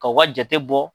Ka u ka jate bɔ